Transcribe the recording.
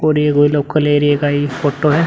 और ये वो लोकल एरिया का ही फोटो है।